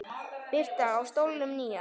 Birta: Á stólnum nýja?